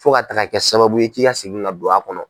Fo ka taaga kɛ sababuye k'i ka segin ka don a kɔnɔ.